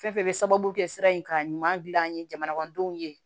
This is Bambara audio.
Fɛn fɛn bɛ sababu kɛ sira in ka ɲuman dilan an ye jamanadenw ye